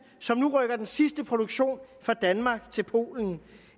som nu rykker den sidste produktion fra danmark til polen